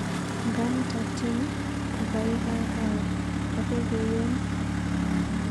Ng'ametab tyeni kokaikaya akokoyon.